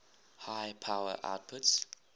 high power outputs